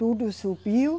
Tudo subiu.